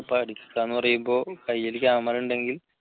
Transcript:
പഠിക്കാന്ന് പറയുമ്പോൾ കൈയിൽ camera ഉണ്ടെങ്കിൽ